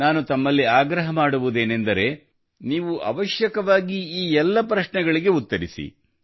ನಾನು ತಮಗೆ ಆಗ್ರಹ ಮಾಡುವುದೇನೆಂದರೆ ನೀವು ಅವಶ್ಯವಾಗಿ ಈ ಎಲ್ಲ ಪ್ರಶ್ನೆಗಳಿಗೆ ಉತ್ತರಿಸಿ